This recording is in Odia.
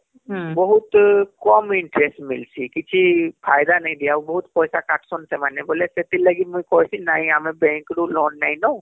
ବହୁତ କମ interest ମିଳୁଛିକିଛି ଫାଇଦା ନାଇଁ ଦିଏ ଆଉ ବହୁତ ପଇସା କାଟୁସନ ସେମାନେବୋଲି ସେଥି ଲାଗି ମୁଇଁ କହିଲି ନାଇଁ ଆମେ bank ରୁ loan ନେଇନୁ